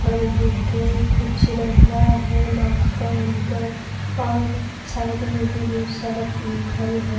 فل دیکھ کے کچھ رکھ رہا ہے۔ ماسک پہن کر اور سائیڈ مے بھی بہت سارا فل ہے۔